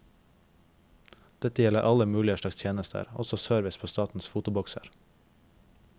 Dette gjelder alle mulig slags tjenester, også service på statens fotobokser.